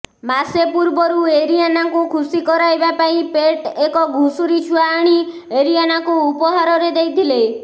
ମାସେ ପୂର୍ବରୁ ଏରିଆନାଙ୍କୁ ଖୁୂସି କରାଇବା ପାଇଁ ପେଟ୍ ଏକ ଘୁଷୁରୀ ଛୁଆ ଆଣି ଏରିଆନାଙ୍କୁ ଉପହାରରେ ଦେଇଥିଲେ